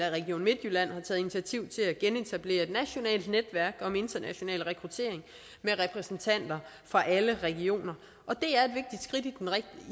at region midtjylland har taget initiativ til at genetablere et nationalt netværk om international rekruttering med repræsentanter fra alle regioner